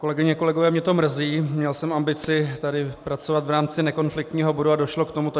Kolegyně, kolegové, mě to mrzí, měl jsem ambici tady pracovat v rámci nekonfliktního bodu a došlo k tomuto.